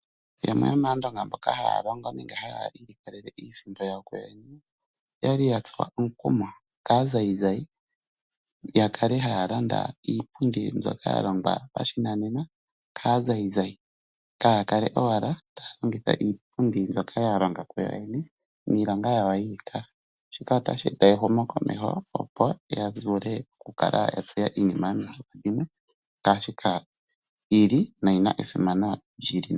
Yamwe yomAandonga mboka haya longe nenge haya ilikolele iisimpo yawo kuyoyene oya li ya tsuwa omukumo kaazayizayi, ya kale haya landa iipundi mbyoka ya longwa pashinanena kaazayizayi, kaaya kale owala taya longitha iipundi mbyoka ya longa kuyoyene niilonga yawo yiikaha. Shika otashi eta ehumokomeho, opo ya vule okukala ya tseya iinima mbyoka yomihoko dhimwe ya simana ngaashi ka yi li noyi na esimanano.